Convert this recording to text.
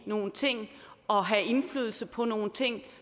nogle ting og have indflydelse på nogle ting